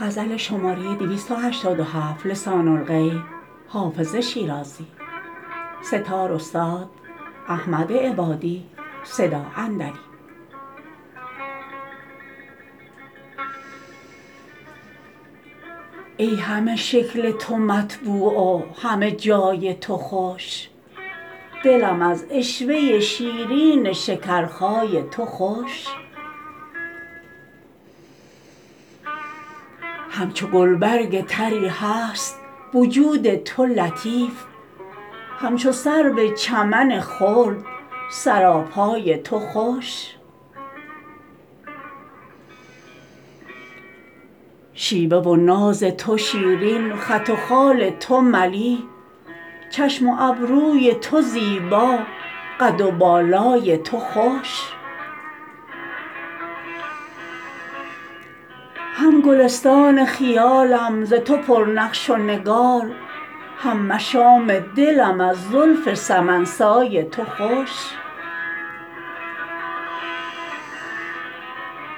ای همه شکل تو مطبوع و همه جای تو خوش دلم از عشوه شیرین شکرخای تو خوش همچو گلبرگ طری هست وجود تو لطیف همچو سرو چمن خلد سراپای تو خوش شیوه و ناز تو شیرین خط و خال تو ملیح چشم و ابروی تو زیبا قد و بالای تو خوش هم گلستان خیالم ز تو پر نقش و نگار هم مشام دلم از زلف سمن سای تو خوش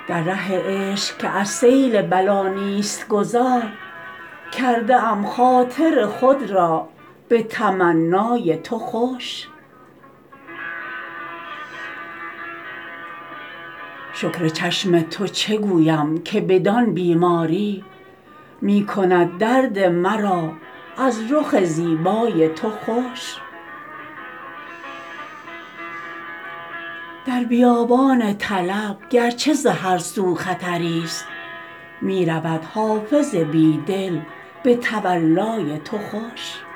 در ره عشق که از سیل بلا نیست گذار کرده ام خاطر خود را به تمنای تو خوش شکر چشم تو چه گویم که بدان بیماری می کند درد مرا از رخ زیبای تو خوش در بیابان طلب گر چه ز هر سو خطری ست می رود حافظ بی دل به تولای تو خوش